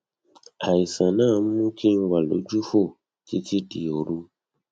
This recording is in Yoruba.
àìsàn náà ń mú kí n wà lójúfò títí di òru